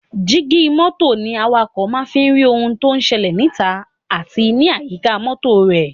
Jígí mọ́tò ní awakọ̀ máa ń fi rí ohun tó ń ṣẹlẹ̀ níta àti ní àyíká mọ́tò rẹ̀.